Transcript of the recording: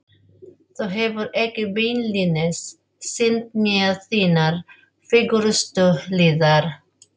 Þú hefur ekki beinlínis sýnt mér þínar fegurstu hliðar.